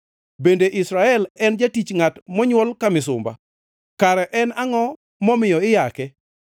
Bende Israel en jatich, ngʼat monywol ka misumba? Kare en angʼo momiyo iyake?